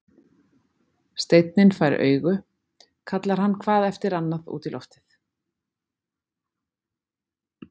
Steinninn fær augu, kallar hann hvað eftir annað út í loftið.